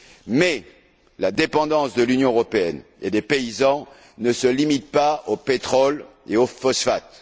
Mais la dépendance de l'Union européenne et des paysans ne se limite pas au pétrole et aux phosphates.